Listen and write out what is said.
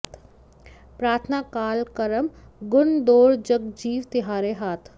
प्रार्थना काल करम गुन दोर जग जीव तिहारे हाथ